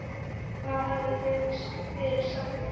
Hvað hafið þið fyrir stafni?